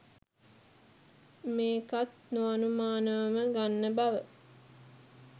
මේකත් නො අනුමානවම ගන්නා බව